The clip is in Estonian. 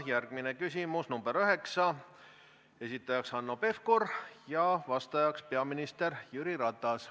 Järgmine küsimus, nr 9, esitajaks Hanno Pevkur ja vastajaks peaminister Jüri Ratas.